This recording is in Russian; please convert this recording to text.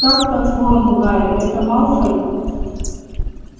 как по-твоему гарри это малфой